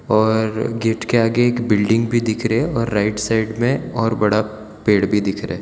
और गेट के आगे एक बिल्डिंग भी दिख रहे और राइट साइड में और बड़ा पेड़ भी दिख रहा--